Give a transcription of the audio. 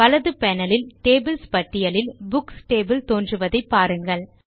வலது பேனல் இல் டேபிள்ஸ் பட்டியலில் புக்ஸ் டேபிள் தோன்றுவதை பாருங்கள்